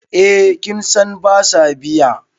eh kin San ba sa biya